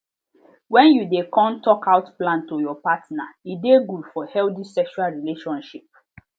when you de com talk out plan to your partner e de good for healthy sexual relationship